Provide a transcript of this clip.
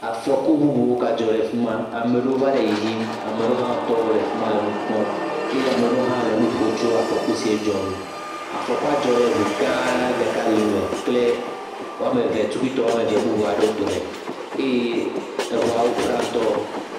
Afɔku bubu gadzɔ le afi ma. Ame aɖewo va le yiyim. Ame aɖewo hã tɔ ɖe afi ma le nu kpɔm eye ame aɖewo hã le nu ƒom tso afɔku si dzɔ ŋu. Afɔkua dzɔ ɖe ŋu gã ɖeka dome kple woameve tukuitɔ emeve aɖewo dome eye ŋuawo pra ŋutɔ.